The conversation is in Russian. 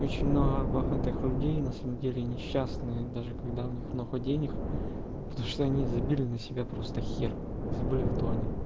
очень много богатых людей на самом деле несчастные даже когда у них много денег потому что они забили на себя просто хер забыли кто они